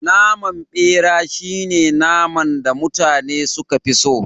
Naman bera shine naman da mutane suka fi so